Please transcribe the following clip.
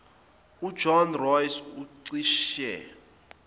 ujohn ross ucishe